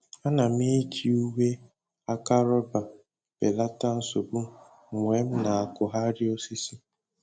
Ana m eji uwe aka rọba belata nsogbu mgbe m na-akụgharị osisi